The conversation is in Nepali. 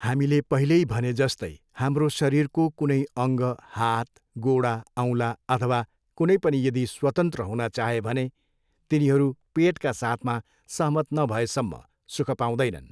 हामीले पहिल्यै भनेजस्तै हाम्रो शरिरको कुनै अङ्ग हात, गोडा औँला अथवा कुनै पनि यदि स्वतन्त्र हुन चाहे भने तिनीहरू पेटका साथमा सहमत नभएसम्म सुःख पाउँदैनन्।